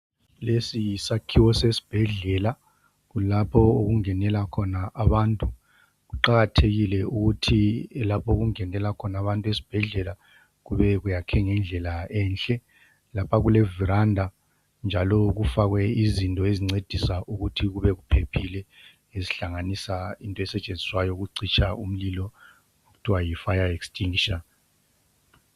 Lesi yisakhiwo sesibhedlela. Kulapho okungenela khona abantu. Kuqakathekile ukuthi lapho okungenela khona abantu esibhedlela kube kuyakhwe ngendlela enhle. Lapha kule veranda njalo kufakwe lezinto ezincedisa ukuthi kube kuphephile okuhlanganisa into esetshenziswayo ukucitsha umlilo okuthiwa yi fire extinguisher.